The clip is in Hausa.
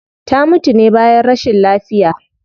Ta mutu ne bayan rashin lafiya